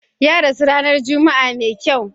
Ya rasu ranar Juma'a mai kyau.